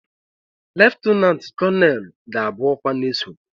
leftananti koneelu ga-abụ ọkwa na-esote